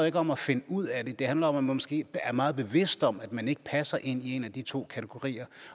ikke om at finde ud af det det handler om at man måske er meget bevidst om at man ikke passer ind i en af de to kategorier